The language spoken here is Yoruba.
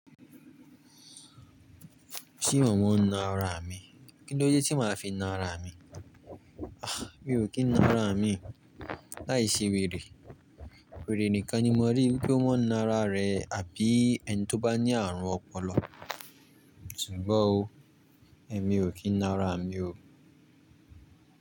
Ṣé mọ món ná ara mi? Kí ló dé tí màá fi ná ara mi? Ah! Mi ò kí n ná ara mi. Láìse wèrè. Wèrè nìkan ni mo rí pé ó mọ́ ná ara rẹ̀ àbí ẹni tó bá ní àrùn ọpọlọ. Ṣùgbọ́n o, èmi ò kí n ná ara mi o.